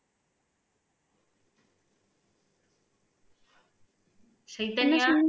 Chaitanya